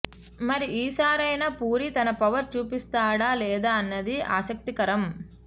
మరి ఈసారైనా పూరి తన పవర్ చూపిస్తాడా లేదా అన్నది ఆసక్తికరం